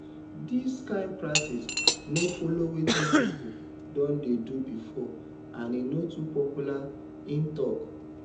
dis kain practice no follow wetin pipo don dey do bifor and e no too popular im tok